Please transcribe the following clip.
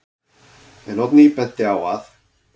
En Oddný benti á að: